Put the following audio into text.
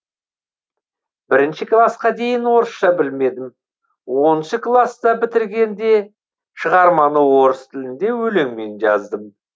бірінші класқа дейін орысша білмедім оныншы класты бітіргенде шығарманы орыс тілінде өлеңмен жаздым